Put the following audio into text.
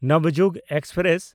Navyug express